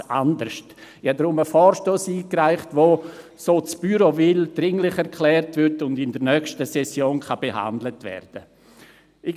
Ich habe deshalb einen Vorstoss eingereicht, der – so das Büro will – als dringlich erklärt wird und in der nächsten Session behandelt werden kann.